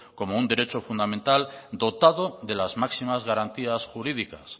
como un derecho fundamental dotado de las máximas garantías jurídicas